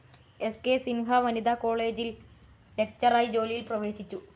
സ്‌ കെ സിൻഹ വനിതാ കോളേജിൽ ലെക്ചററായ് ജോലിയിൽ പ്രവേശിച്ചു.